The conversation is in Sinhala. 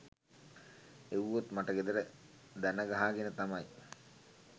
එව්වොත් මට ගෙදර දනගහ ගෙන තමයි